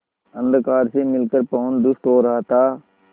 अंधकार से मिलकर पवन दुष्ट हो रहा था